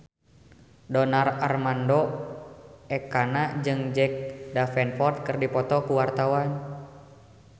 Donar Armando Ekana jeung Jack Davenport keur dipoto ku wartawan